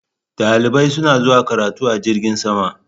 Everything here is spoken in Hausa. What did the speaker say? Dalibai suna zuwa karatu a jirgin sama.